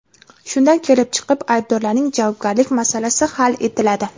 Shundan kelib chiqib, aybdorlarning javobgarlik masalasi hal etiladi.